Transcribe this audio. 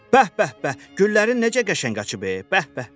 Bəh bəh bəh, güllərin necə qəşəng açıb, bəh bəh.